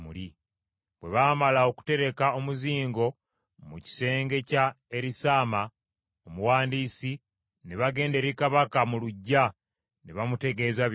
Bwe baamala okutereka omuzingo mu kisenge kya Erisaama omuwandiisi, ne bagenda eri kabaka mu luggya ne bamutegeeza byonna.